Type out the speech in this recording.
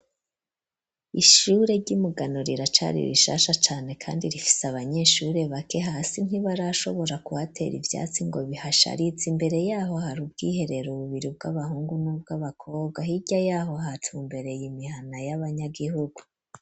Ishure ry'imugano riracari rishasha cane kandi rifise abanyeshure bake hasi ntibari ashobora kuhatera ivyatsi ngo bihasharitse imbere yaho hari ubwiherera ububiri bw'abahungu n'ubw'abakobwa hirya yaho hatu mbere y'imihana y'abanyagihugu.